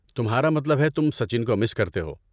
تمہارا مطلب ہے تم سچن کو مس کرتے ہو۔